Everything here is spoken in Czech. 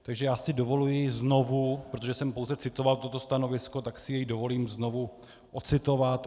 Takže já si dovoluji znovu, protože jsem pouze citoval toto stanovisko, tak si je dovolím znovu ocitovat.